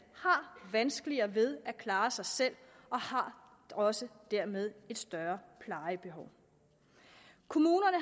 har vanskeligere ved at klare sig selv og har også dermed et større plejebehov kommunerne